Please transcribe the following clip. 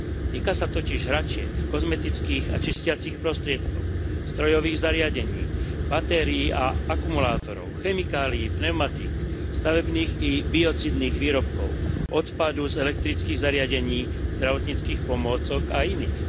Týka sa totiž hračiek, kozmetických a čistiacich prostriedkov, strojových zariadení, batérií a akumulátorov, chemikálií, pneumatík, stavebných i biocídnych výrobkov, odpadu z elektrických zariadení, zdravotníckych pomôcok a iných.